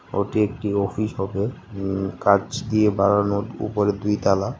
ওটি একটি অফিস হবে উম কাঁচ দিয়ে বানানো উপরে দুইতালা।